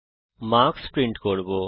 আমরা marks print করব